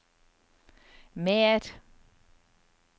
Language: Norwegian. mer